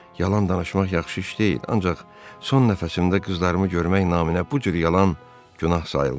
Yalan danışmaq yaxşı iş deyil, ancaq son nəfəsimdə qızlarımı görmək naminə bu cür yalan günah sayılmaz.